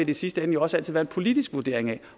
i sidste ende jo også altid være en politisk vurdering